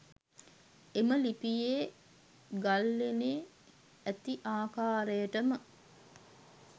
එම ලිපිය ගල්ලෙණේ ඇති ආකාරයටම